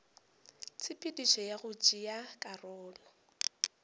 tshepedišo ya go tšea karolo